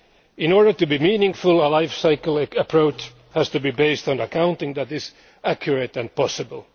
In order to be meaningful, a life cycle approach has to be based on accounting that is accurate and possible.